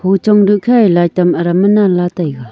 hachong su khe ye light tam adam ngan la taiga.